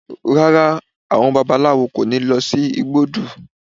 Rárá, àwọn babaláwo kò ní lọ sí igbódù